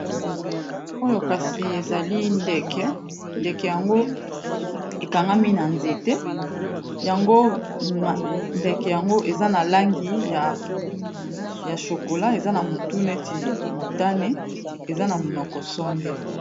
Oyo kasi ezali ndeke ndeke yango ekangami na nzete yango ndeke yango eza na langi ya chokola eza na motu neti motane eza na monoko songe.